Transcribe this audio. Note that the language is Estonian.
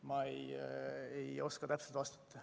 Ma ei oska täpselt vastata.